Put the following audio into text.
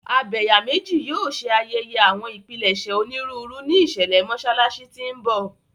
Abẹ̀yàmejì yóò ṣe ayẹyẹ àwọn ìpilẹ̀ṣẹ̀ onírúurú ní ìṣẹ̀lẹ̀ Mọ́ṣáláṣí tí ń bọ̀.